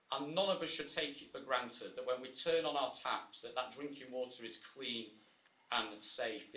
None of us should take it for granted, when we turn on our taps, that that drinking water is clean and safe.